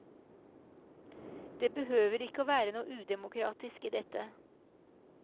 Det behøver ikke å være noe udemokratisk i dette.